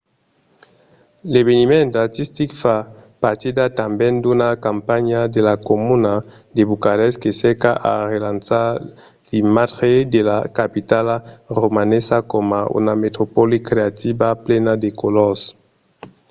l’eveniment artistic fa partida tanben d’una campanha de la comuna de bucarest que cerca a relançar l'imatge de la capitala romanesa coma una metropòli creativa e plena de colors